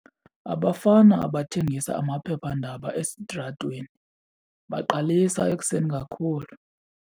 Abafana abathengisa amaphephandaba esitratweni baqalisa ekuseni kakhulu.